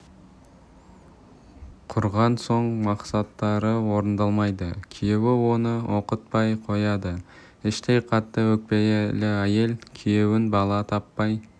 құрған соң мақсаттары орындалмайды күйеуі оны оқытпай қояды іштей қатты өкпелі әйел күйеуін бала таппай